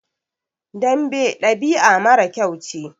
Dambe ɗabi'a mara kyau ce.